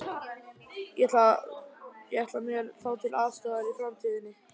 Ég ætla mér þá til aðstoðar í framtíðinni.